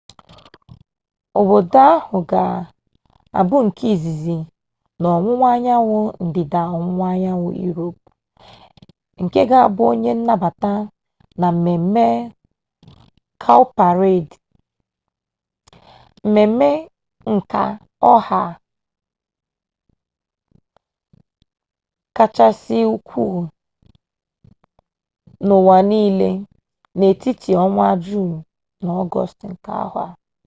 obodo ahụ ga abụ nke izizi n'ọwụwa anyanwụ ndịda ọwụwa anyanwụ iroopu nke ga bụ onye nnabata na mmeme kawụparedị mmeme nka ọha kachasị ukwu n'ụwa n'ile n'etiti ọnwa juunu na ọgọstụ nke afọ a